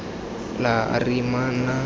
la r e e nnang